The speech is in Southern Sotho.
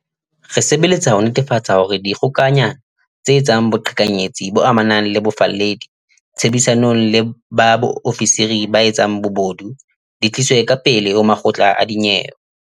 Re sebeletsa ho netefatsa hore dikgokanyana tse etsang boqhekanyetsi bo amanang le bofalledi, tshebedisanong le ba ofisiri ba etsang bobodu, di tliswe ka pele ho makgotla a dinyewe.